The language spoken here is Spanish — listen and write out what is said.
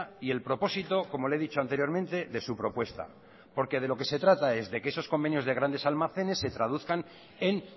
y el propósito como le he dicho anteriormente de su propuesta porque de lo que se trata es de que esos convenios de grandes almacenes se traduzcan en